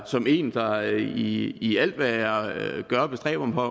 som en der i i alt hvad jeg gør bestræber mig